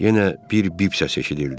Yenə bir bip səsi eşidildi.